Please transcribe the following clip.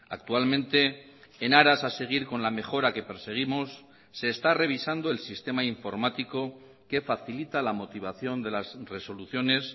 actualmente en aras a seguir con la mejora que perseguimos se está revisando el sistema informático que facilita la motivación de las resoluciones